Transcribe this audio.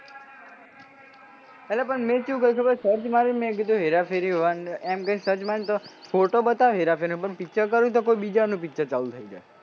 અલ્યા મેં પણ ચેવું કર્યું તું ખબર હે search મારીને કહ્યું હેરા ફેરી one એમ કરીન search માર્યું તો photo બતાવે હેરા ફેરીનો પણ picture કરુ તો કોઈ બીજાનું picture ચાલુ થઇ જાય.